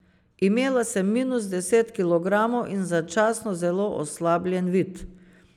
Imela sem minus deset kilogramov in začasno zelo oslabljen vid.